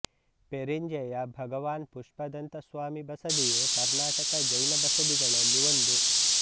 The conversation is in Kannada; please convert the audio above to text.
ಪೆರಿಂಜೆಯ ಭಗವಾನ್ ಪುಷ್ಪದಂತ ಸ್ವಾಮಿ ಬಸದಿಯು ಕರ್ನಾಟಕ ಜೈನ ಬಸದಿಗಳಲ್ಲಿ ಒಂದು